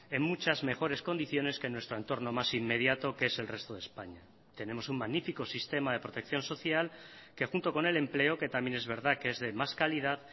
en muchas mejores condiciones que en nuestro entorno más inmediato que es el resto de españa tenemos un magnífico sistema de protección social que junto con el empleo que también es verdad que es de más calidad